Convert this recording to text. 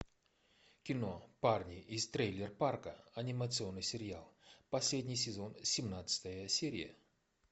кино парни из трейлер парка анимационный сериал последний сезон семнадцатая серия